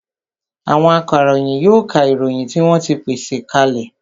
Àwọn akaròyìn yóò ka ìròyìn tí wọ́n ti pèsè ka lẹ̀